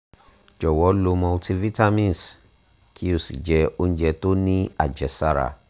jowo lo multivitamins ki o si je ounje to ni ajesara